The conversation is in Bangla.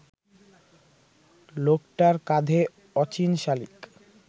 লোকটার কাঁধে অচিন শালিক